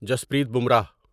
Jasprit Bumrah